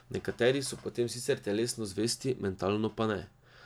Nekateri so potem sicer telesno zvesti, mentalno pa ne.